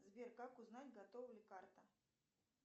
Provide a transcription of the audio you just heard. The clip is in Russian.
сбер как узнать готова ли карта